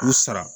K'u sara